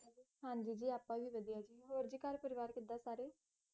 ਹੋਰ ਜੀ ਘਰ ਪਰਿਵਾਰ ਕਿੱਦਾਂ ਸਾਰੇ?